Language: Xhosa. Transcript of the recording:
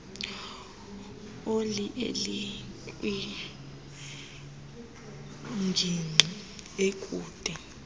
oli elikwingingqi ekude